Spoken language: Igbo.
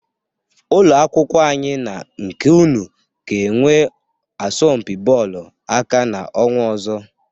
Ụlọ akwụkwọ anyị na nke unu ga-enwe asọmpị bọọlụ aka n'ọnwa ọzọ.